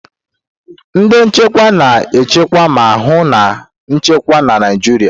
Ndị nchekwa na-echekwa ma hụ na nchekwa na Naịjirịa.